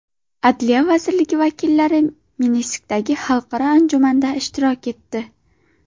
Adliya vazirligi vakillari Minskdagi xalqaro anjumanda ishtirok etdi.